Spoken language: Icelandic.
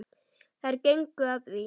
Þeir gengu að því.